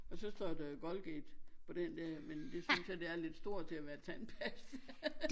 Og så står der Colgate på den der men det synes jeg det er lidt stort til at være tandpasta